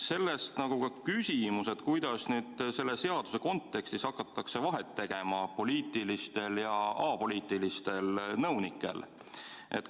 Sellest ka küsimus: kuidas selle seaduse kontekstis hakatakse vahet tegema poliitilistel ja apoliitilistel nõunikel?